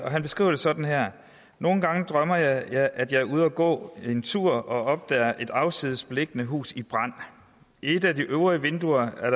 han beskriver det sådan her nogle gange drømmer jeg at jeg er ude at gå en tur og opdager et afsides beliggende hus i brand i et af de øvre vinduer er